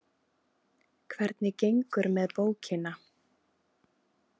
Hvernig gengur með bókina?